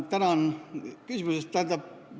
Tänan küsimuse eest!